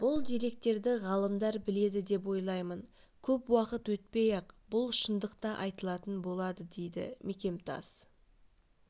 бұл деректерді ғалымдар біледі деп ойлаймын көп уақыт өтпей-ақ бұл шындық та айтылатын болады дейді мекемтас